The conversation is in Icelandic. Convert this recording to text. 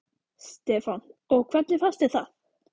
Stefán: Og hvernig fannst þér það?